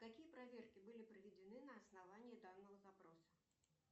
какие проверки были проведены на основании данного запроса